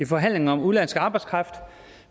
forhandlingerne om udenlandsk arbejdskraft